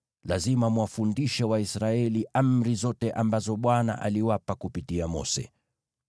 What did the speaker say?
na lazima mwafundishe Waisraeli amri zote ambazo Bwana aliwapa kupitia Mose.”